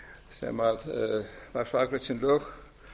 sem var svo afgreitt sem lög